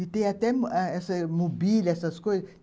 E tem até eh essa mobília, essas coisas.